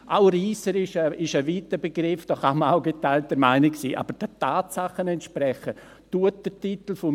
Auch reisserisch ist ein weiter Begriff, da kann man auch geteilter Meinung sein, aber der Titel meines Vorstosses entspricht den Tatsachen.